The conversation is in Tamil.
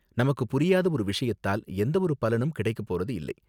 நமக்கு புரியாத ஒரு விஷயத்தால் எந்தவொரு பலனும் கிடைக்கப் போறது இல்லை